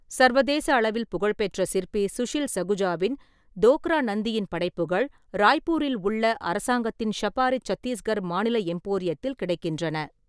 சர்வதேச அளவில் புகழ்பெற்ற சிற்பி சுஷில் சகுஜாவின் தோக்ரா நந்தியின் படைப்புகள் ராய்ப்பூரில் உள்ள அரசாங்கத்தின் ஷபாரி சத்தீஸ்கர் மாநில எம்போரியத்தில் கிடைக்கின்றன.